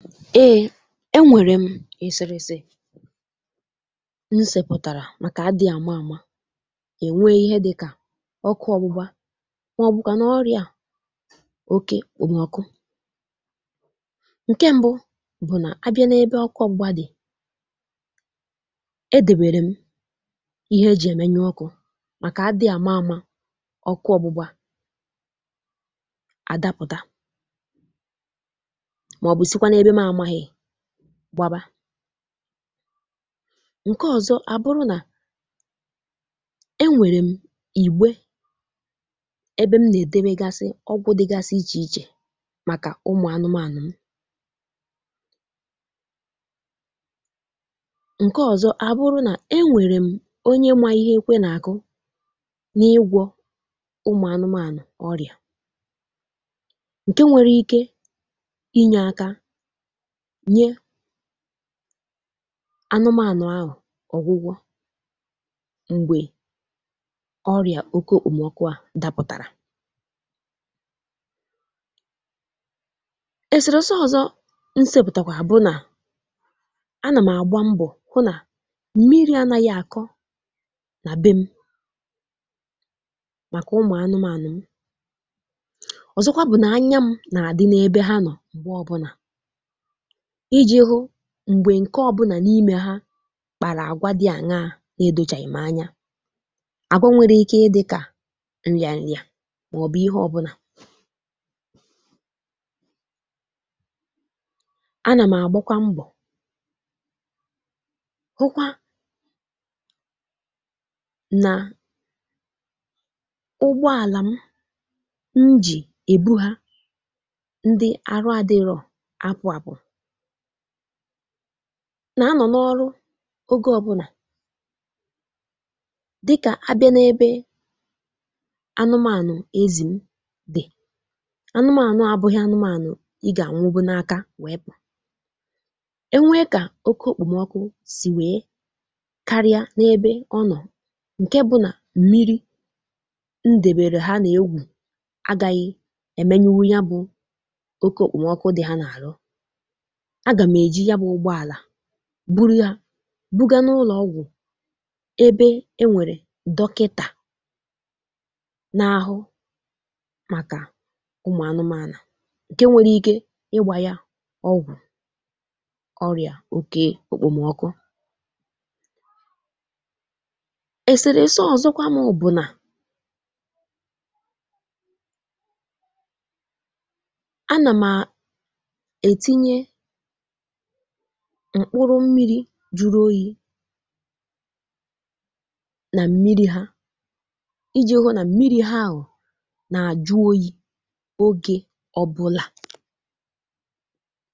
Ee e nwere m eserese m sepụtara maka adị ama ama e nwee ihe dị ka ọkụ ọgbụgba ma ọ bụkwanụ ọrịa oké ekpomọkụ. Nke mbụ bụ na abịa n'ebe ọkụ ọgbụgba dị, e debere m ihe e ji emenyụ ọkụ maka adị ama ama ọkụ ọgbụgba a dapụta maọbụ sikwanụ n'ebe mụ amaghị gbaba. Nke ọzọ wee bụrụ na e nwere m ìgbé ebe m na-edobegasị ọgwụ dịgasị iche iche maka ụmụ anụmanụ m. Nke ọzọ a bụrụ na e nwere m onye ma ihe ékwé na-akụ n'ịgwọ ụmụ anụmanụ ọrịa nke nwere ike inye aka nye anụmanụ ahụ ọgwụgwọ mgbe ọrịa oké ekpomọkụ ahụ dapụtara. Eserese ọzọ m sepụtakwara bụ na a nam agba mbọ hụ na mmiri anaghị akọ na be m maka ụmụ anụmanụ m. Ọzọkwa bụ na anya m na-adị n'ebe ha nọ mgbe ọbụla iji hụ mgbe nke ọbụla n'ime ha kpara agwa dị aṅaa na-edochaghị m anya. Agwa nwere ike ị dị ka nrịanrịa maọbụ ihe ọbụla. A nam agbakwa mbọ hụkwa na ụgbọala m m ji ebu ha ndị arụ adịrọ apụ apụ na a nọ n'ọrụ oge ọbụla dị ka a bịa n'ebe anụmanụ ezi m dị, anụmanụ a abụghị anụmanụ ị ga-anwụwu n'aka wee pụ. E nwee ka oké ekpomọkụ si wee karịa n'ebe ọ nọ nke bụ na mmiri m debeere ha na-ewu agaghị emenyụnwụ ya bụ oké ekpomọkụ dị ha n'arụ, a ga m eji ya bụ ụgbọala buru ha buga n'ụlọ ọgwụ ebe e nwere dọkịta na-ahụ maka ụmụ anụmanụ nke nwere ike ịgba ya ọgwụ ọrịa oké ekpomọkụ. Eserese ọzọkwa mụ bụ na a na m etinye mkpụrụ mmiri juru oyi na mmiri ha iji hụ na mmiri ha ahụ na-ajụ oyi oge ọbụla.